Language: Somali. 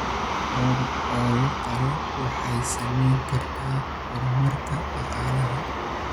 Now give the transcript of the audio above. Lo'da oo la qalo waxay saameyn kartaa horumarka dhaqaalaha.